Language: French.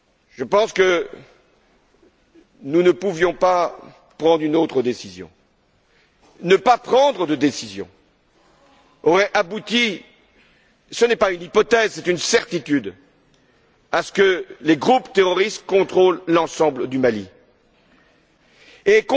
Je pense que nous ne pouvions pas prendre une autre décision. Ne pas prendre de décision aurait abouti ce n'est pas une hypothèse, c'est une certitude à ce que les groupes terroristes contrôlent l'ensemble du Mali